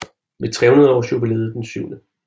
Ved 300 Aars Jubilæet den 7